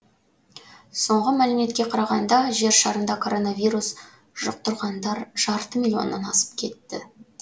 соңғы мәліметке қарағанда жер шарында коронавирус жұқтырғандар жарты миллионнан асып кетті